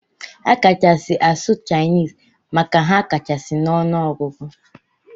Akachasi asụ chinese maka ha kachasi na ọnụ ọgụgụ.